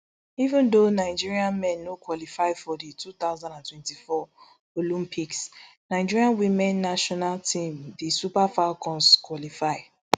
even though nigeria men no qualify for di two thousand and twenty-four olympics nigeria women national team di super falcons qualify